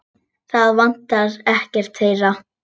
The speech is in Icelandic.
Það vantar ekkert þeirra.